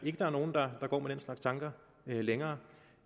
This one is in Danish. ikke der er nogen der går med den slags tanker længere